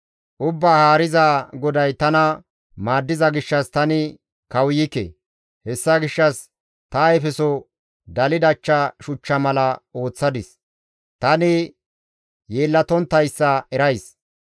Ubbaa Haarizaa GODAY tana maaddiza gishshas tani kawuykke; hessa gishshas ta ayfeso daldacha shuchcha mala ooththadis; tani yeellatonttayssa erays.